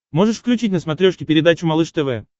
можешь включить на смотрешке передачу малыш тв